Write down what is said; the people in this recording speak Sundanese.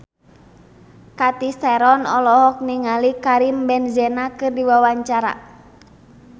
Cathy Sharon olohok ningali Karim Benzema keur diwawancara